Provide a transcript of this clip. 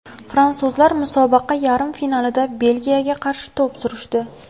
Fransuzlar musobaqa yarim finalida Belgiyaga qarshi to‘p surishdi.